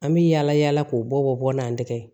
An bɛ yala yala k'o bɔ n'an tɛgɛ ye